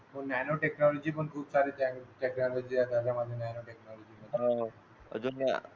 nano technology पण खूप सारे प्लॅनिंग आहेत नॅनो टेक्नॉलॉजी मध्ये अह अजून या